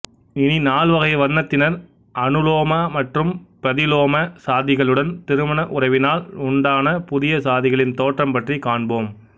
இனி நால்வகை வர்ணத்தினர் அனுலோம மற்றும் பிரதிலோம சாதிகளுடன் திருமண உறவினால் உண்டான புதிய சாதிகளின் தோற்றம் பற்றி காண்போம்